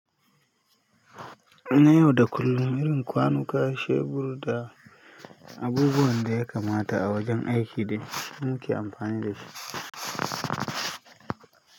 Na yau da kullum, irin kwanuka, shebur da abubuwan da ya kamata a wajen aiki dai muke amfani da shi.